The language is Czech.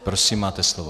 Prosím, máte slovo.